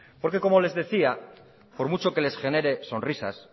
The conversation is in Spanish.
como les decía por mucho que les genere sonrisas